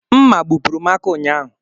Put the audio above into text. Mma gbupụrụ m aka ụnyahụ.